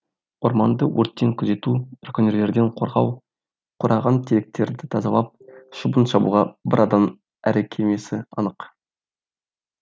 орманды өрттен күзету браконьерлерден қорғау қураған теректерді тазалап шөбін шабуға бір адам әлі келмесі анық